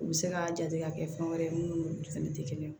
U bɛ se ka jate ka kɛ fɛn wɛrɛ ye mun n'olu fɛnɛ tɛ kelen ye